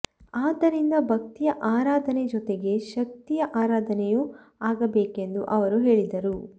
ಆದ್ದರಿಂದ ಭಕ್ತಿಯ ಆರಾಧನೆ ಜೊತೆಗೆ ಶಕ್ತಿಯ ಆರಾಧನೆಯೂ ಆಗಬೇಕೆಂದು ಅವರು ಹೇಳಿದರು